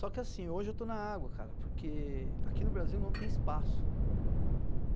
Só que assim, hoje eu estou na água, cara, porque aqui no Brasil não tem espaço.